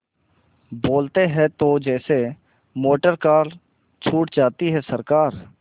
बोलते हैं तो जैसे मोटरकार छूट जाती है सरकार